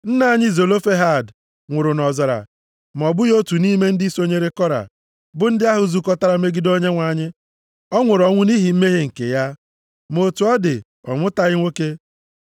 “Nna anyị Zelofehad nwụrụ nʼọzara ma ọ bụghị otu nʼime ndị sonyere Kora, bụ ndị ahụ zukọtara megide Onyenwe anyị. Ọ nwụrụ ọnwụ nʼihi mmehie nke ya. Ma otu ọ dị, ọ mụtaghị nwoke.